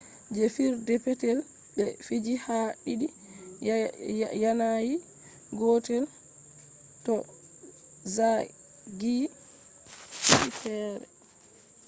je fijirde petel be fiji ha didi yanayi gotel do zagiyi didi fere